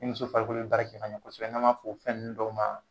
I muso farikolo baara kɛ ɲa kɔsɛbɛ n ma fo fɛn nin dɔw ma.